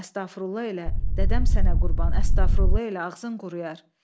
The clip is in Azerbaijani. Əstağfurullah elə, dədəm sənə qurban, əstağfurullah elə, ağzın quruyar.